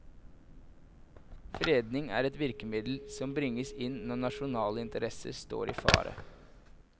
Fredning er et virkemiddel som bringes inn når nasjonale interesser står i fare.